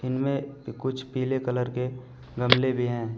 इनमें कुछ पीले कलर के गमले भी हैं।